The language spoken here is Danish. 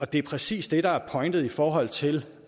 det er præcis det der er pointen i forhold til